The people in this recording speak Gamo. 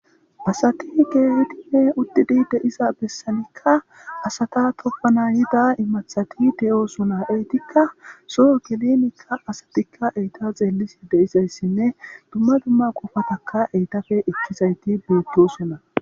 Asati Keehidinne uddidi deiza bessanikka asata toppana yida imathati de7oosuna eytikka soo gelenikka asatikka eyta zeellisi deizayssinne dumma dumma qofataka eytafe ekkizayti beettosuna.